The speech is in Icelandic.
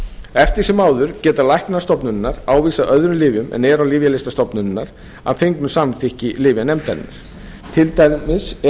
eftir sem áður geta læknar stofnunarinnar ávísað öðrum lyfjum en eru á lyfjalista stofnunarinnar að fengnu samþykki lyfjanefndarinnar til dæmis ef um